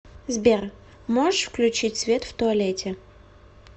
сбер можешь включить свет в туалете